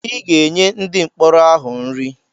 Ị ga-enye ndị mkpọrọ ahụ nri!